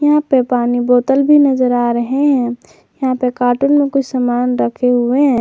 यहां पे पानी बोतल भी नजर आ रहे हैं यहां पे कार्टून में कोई सामान रखे हुए हैं।